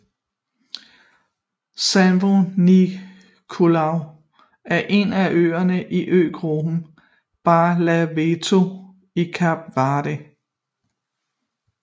São Nicolau er en af øerne i øgruppen Barlavento i Kap Verde